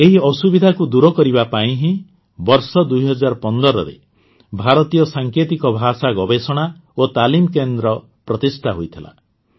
ଏହି ଅସୁବିଧାକୁ ଦୂର କରିବା ପାଇଁ ହିଁ ବର୍ଷ ୨୦୧୫ରେ ଭାରତୀୟ ସାଙ୍କେତିକ ଭାଷା ଗବେଷଣା ଓ ତାଲିମ କେନ୍ଦ୍ର ପ୍ରତିଷ୍ଠା ହୋଇଥିଲା